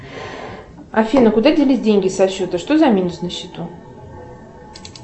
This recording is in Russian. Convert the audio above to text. афина куда делись деньги со счета что за минус на счету